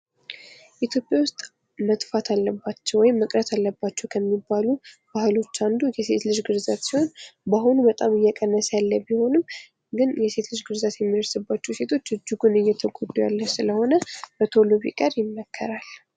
ኢትዮጵያ ውስጥ መጥፋት አለባቸው ወይም መቅረት አለባቸው ከሚባሉ ባህሎች አንዱ የሴት ልጅ ግርዛት ሲሆን፤ በአሁኑ በጣም እየቀነሰ ያለ ቢሆንም ግን የሴት ልጅ ግርዛት የሚደርስባቸው ሴቶች እኩል እየተጎዱ ያሉ ስለሆነ በቶሎ ቢቀር ይመከራል።